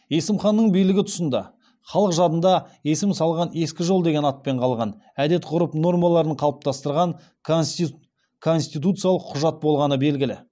есім ханның билігі тұсында халық жадында есім салған ескі жол деген атпен қалған әдет ғұрып нормаларын қалыптастырған конституциялық құжат болғаны белгілі